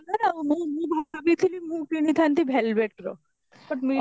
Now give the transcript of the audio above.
ଆଉ ମୁଁ ମୁଁ ଭାବିଥିଲି ମୁଁ କିଣିଥାନ୍ତି velvet ର but ମିଳିଲାନି